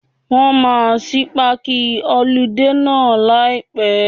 Wọ́n máa ṣí páàkì họludé náà láì pẹ́.